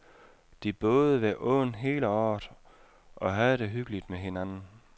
De boede ved åen hele året og havde det hyggeligt med hinanden.